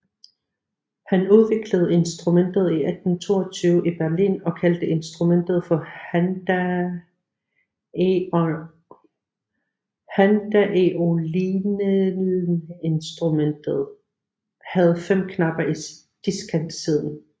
Han udviklede instrumentet i 1822 i Berlin og kaldte instrumentet for handaeolineInstrumentet havde 5 knapper i diskantsiden